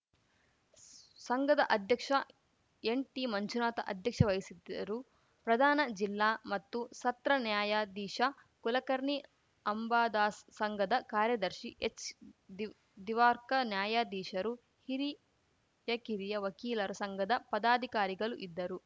ಸಂಘದ ಅಧ್ಯಕ್ಷ ಎನ್‌ಟಿಮಂಜುನಾಥ ಅಧ್ಯಕ್ಷ ವಹಿಸಿದ್ದರು ಪ್ರಧಾನ ಜಿಲ್ಲಾ ಮತ್ತು ಸತ್ರ ನ್ಯಾಯಾಧೀಶ ಕುಲಕರ್ಣಿ ಅಂಬಾದಾಸ್‌ ಸಂಘದ ಕಾರ್ಯದರ್ಶಿ ಎಚ್‌ದಿವ್ ದಿವಾರ್ಕ ನ್ಯಾಯಾಧೀಶರು ಹಿರಿಯಕಿರಿಯ ವಕೀಲರ ಸಂಘದ ಪದಾಧಿಕಾರಿಗಳು ಇದ್ದರು